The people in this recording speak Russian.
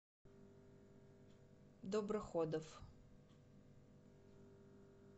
доброходов